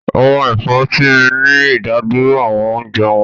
Àwọn ẹ̀fọ́ tí ń mí ní ìdádúró àwọn oúnjẹ wọn